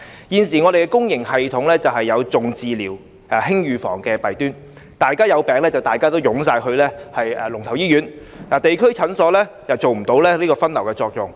現時香港公營醫療系統有"重治療、輕預防"的弊端，大家有病也會湧向龍頭醫院，地區診所無法發揮分流作用。